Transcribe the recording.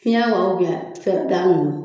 Fiyɛn wa ninnu